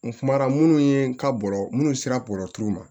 N kumara minnu ye ka bɔrɔ munnu sera bɔrɔ ma